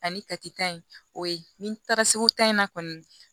Ani katita in o ye ni taara segu tan in na kɔni